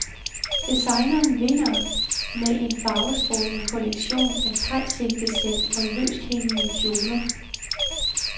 Designeren vinder med en farvestrålende kollektion af thaisilke-sæt og løsthængende kjoler.